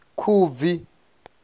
khubvi